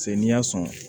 Se n'i y'a sɔn